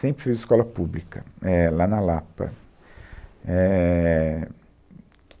Sempre fiz Escola Pública, éh, lá na Lapa, éh..